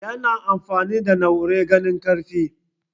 yana amfani da na'urar gane karfe